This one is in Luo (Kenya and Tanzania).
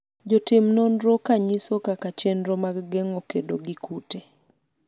jotim nonro ka nyiso kaka chenro mag geng'o kedo gi kute